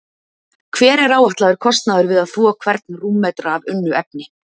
Hver er áætlaður kostnaður við að þvo hvern rúmmetra af unnu efni?